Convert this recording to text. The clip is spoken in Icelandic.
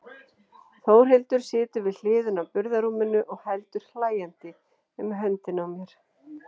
Þórhildur situr við hliðina á burðarrúminu og heldur hlæjandi um höndina á mér.